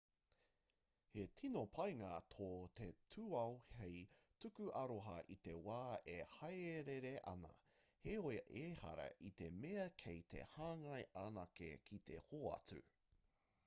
he tino painga tō te tūao hei tuku aroha i te wā e hāereere ana heoi ehara i te mea kei te hāngai anake ki te hoatu